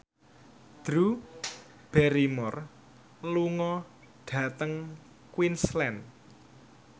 Drew Barrymore lunga dhateng Queensland